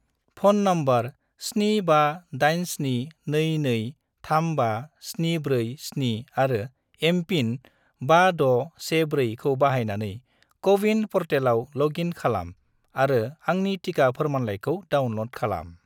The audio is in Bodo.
फ'न नम्बर 75872235747 आरो एम.पिन 5614 खौ बाहायनानै क'-विन प'र्टेलाव ल'ग इन खालाम आरो आंनि टिका फोरमानलाइखौ डाउनल'ड खालाम।